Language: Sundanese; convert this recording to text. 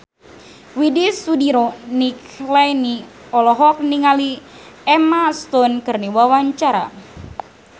Widy Soediro Nichlany olohok ningali Emma Stone keur diwawancara